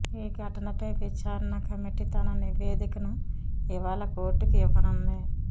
ఈ ఘటనపై విచారణ కమిటీ తన నివేదికను ఇవాళ కోర్టుకు ఇవ్వనుంది